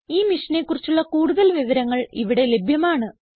ഈ മിഷനെ കുറിച്ചുള്ള കുടുതൽ വിവരങ്ങൾ ഇവിടെ ലഭ്യമാണ്